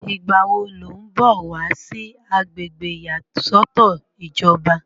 ìgbà wo ló ń bọ̀ wá sí agbègbè ìyàsọ́tọ̀ ìjọba?